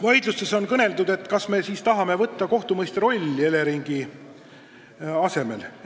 Vaidlustes on kõlanud, kas me siis tahame võtta endale Eleringi asemel kohtumõistja rolli.